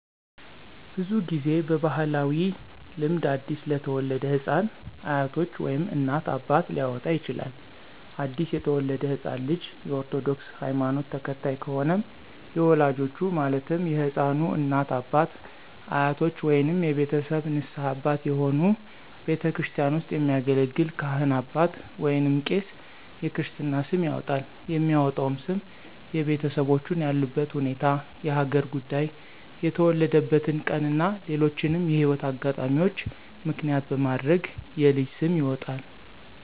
ብዙ ጊዜ በባህላዊ ልምድ አዲስ ለተወለደ ህፃን አያቶች ወይም እናት፣ አባት ሊያወጣ ይችላል። አዲስ የተወለደው ህፃን ልጅ የ ኦርቶዶክስ ሀይማኖት ተከታይ ከሆነም የወላጆቹ ማለትም የህፃኑ እናት፣ አባት፣ አያቶች ወይንም የቤተሰብ ንስሀ አባት የሆኑ ቤተክርስቲያን ውስጥ የሚያገለግል ካህን አባት ወይንም ቄስ የክርስትና ስም ያወጣል። የሚወጣውም ስም የቤተሰቦቹን ያሉበት ሁኔታ፣ የሀገር ጉዳይ፣ የተወለደበትን ቀን እና ሌሎችንም የህይወት አጋጣሚዎች ምክንያት በማድረግ የልጅ ስም ይወጣል።